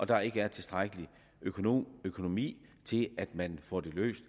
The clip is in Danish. der ikke er tilstrækkelig økonomi økonomi til at man får det løst